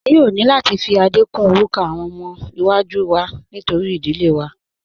A yóò ni láti fi Adé kún orúkọ awọn ọmọ iwa-jú wá nítorí idílé wá.